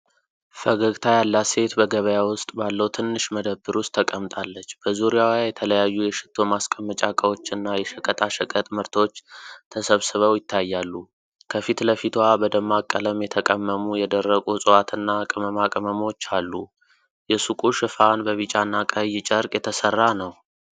ፈገግታ ያላት ሴት በገበያ ውስጥ ባለው ትንሽ መደብር ውስጥ ተቀምጣለች። በዙሪያዋ የተለያዩ የሽቶ ማስቀመጫ እቃዎችና የሸቀጣሸቀጥ ምርቶች ተሰብስበው ይታያሉ። ከፊት ለፊቷ በደማቅ ቀለም የተቀመሙ የደረቁ እፅዋትና ቅመማ ቅመሞች አሉ። የሱቁ ሽፋን በቢጫና ቀይ ጨርቅ የተሰራ ነው።